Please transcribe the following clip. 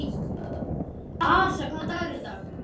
Arisa, hvaða dagur er í dag?